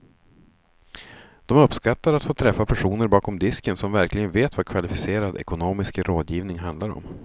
De uppskattar att få träffa personer bakom disken som verkligen vet vad kvalificerad ekonomisk rådgivning handlar om.